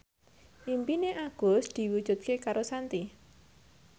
impine Agus diwujudke karo Shanti